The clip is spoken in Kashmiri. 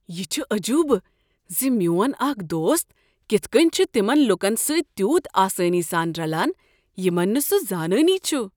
یہ چھ عجوبہ ز میون اکھ دوست کتھ کٔنۍ چھ تمن لوکن سۭتۍ تیوٗت آسانی سان رلان یمن نہٕ سہ زانٲنی چھ۔